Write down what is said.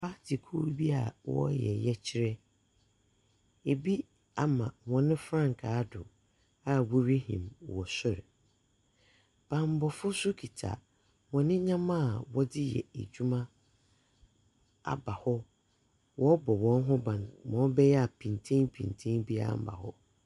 Party kuo bi a wɔreyɛ yɛkyerɛ. Bi ama hɔn frankaa do a worihim wɔ sor. Bammɔfo nso kita hɔn ndzɛmba a wɔdze reyɛ edwuma aba hɔ. Wɔrobɔ hɔn ho ban, ma ɔbɛyɛ a pinkyenpinkyen biara mba hɔ.